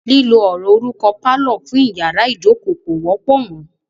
Lílo ọ̀rọ̀ orúkọ "pálọ̀" fún iyàrá ìjókó kò wọ́pọ̀ mọ.